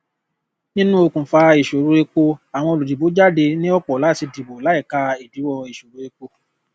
nínú òkùnfà ìṣòro epo àwọn olùdìbò jáde ní ọpọ láti dìbò láìka ìdíwọ ìṣòro epo